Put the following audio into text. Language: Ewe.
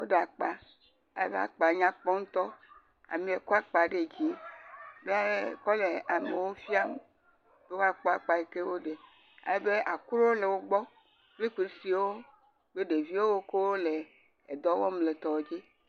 Wò ɖe akpa, amea kɔ akpa ɖe dzi alebe akpa nyakpɔ ŋutɔ ya ekɔ le amewo fiam be woakɔ akpa yike woɖe alebe akro le wogbɔ kple nusiwo, alebe ɖeviwo le dɔwɔm le etsia dzi.